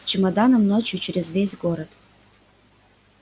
с чемоданом ночью через весь город